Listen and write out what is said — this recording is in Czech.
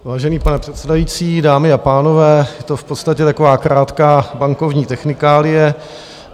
Vážený pane předsedající, dámy a pánové, je to v podstatě taková krátká bankovní technikálie.